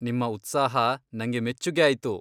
ನಿಮ್ಮ ಉತ್ಸಾಹ ನಂಗೆ ಮೆಚ್ಚುಗೆ ಆಯ್ತು.